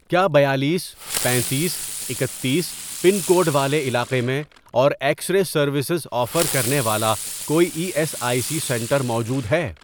کیا بیالیس، پنیتیس، اکتیس، پن کوڈ والے علاقے میں اور ایکس رے سروسز آفر کرنے والا کوئی E S I C centre موجود ہے؟